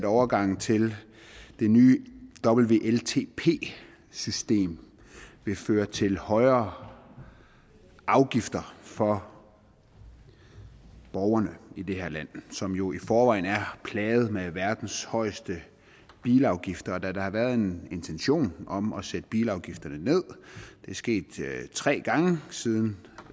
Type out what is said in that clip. overgangen til det nye wltp system vil føre til højere afgifter for borgerne i det her land som jo i forvejen er plaget med verdens højeste bilafgifter da der har været en intention om at sætte bilafgifterne ned det er sket tre gange siden